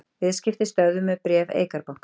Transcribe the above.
Viðskipti stöðvuð með bréf Eikar banka